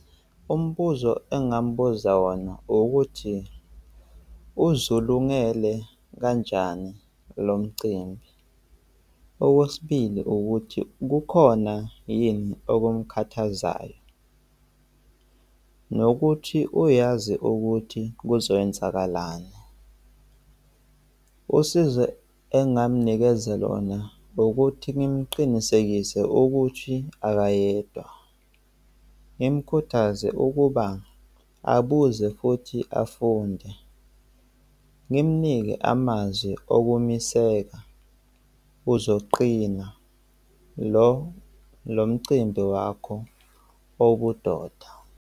Umbuzo engingamubuza wona ukuthi uzulungele kanjani lo umcimbi? Okwesibili, ukuthi bukhona yini okumkhathazayo? Nokuthi uyazi ukuthi kuzoyenzakalani? Usizo engamnikeza lona ukuthi ngimqinisekise ukuthi akayedwa. Ngimkhuthaze ukuba abuze futhi afunde. Ngimnike amazwi okumiseka uzoqina lo, lo mcimbi wakho obudoda.